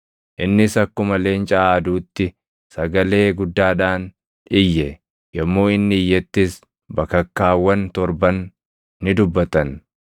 innis akkuma leenca aaduutti sagalee guddaadhaan iyye. Yommuu inni iyyettis bakakkaawwan torban ni dubbatan.